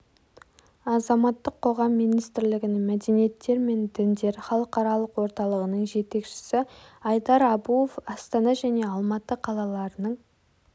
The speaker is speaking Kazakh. азаматтық қоғам министрлігінің мәдениеттер мен діндер халықаралық орталығының жетекшісі айдар абуов астана және алматы қалаларының